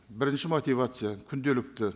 бірінші мотивация күнделікті